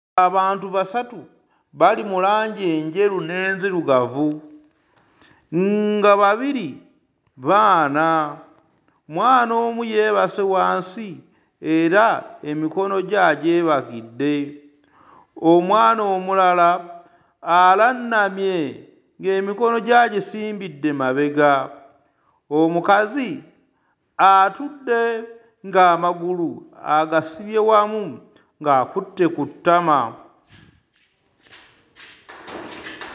Abantu basatu bali mu langi enjeru n'enzirugavu nga babiri baana, mwana omu yeebase wansi era emikono gye agyebakidde, omwana omulala alannamye ng'emikono gye agisimbidde mabega, omukazi atudde ng'amagulu agasibye wamu ng'akutte ku ttama.